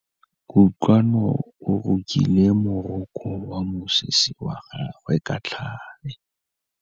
Kutlwanô o rokile morokô wa mosese wa gagwe ka tlhale.